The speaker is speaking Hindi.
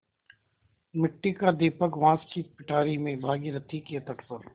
मिट्टी का दीपक बाँस की पिटारी में भागीरथी के तट पर